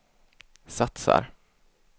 satsar